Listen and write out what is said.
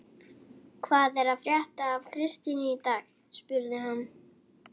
Hvað er að frétta af Kristínu í dag? spurði hann.